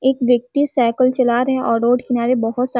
एक व्यक्ति साइकिल चला रहा है और रोड किनारे बहोत सा --